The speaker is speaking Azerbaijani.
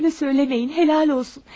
Böyle söyleməyin, helal olsun.